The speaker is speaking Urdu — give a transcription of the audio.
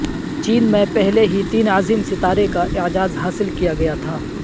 چین میں پہلے ہی تین عظیم ستارے کا اعزاز حاصل کیا گیا تھا